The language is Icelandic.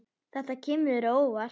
Þetta kemur þér á óvart.